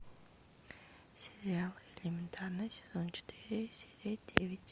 сериал элементарно сезон четыре серия девять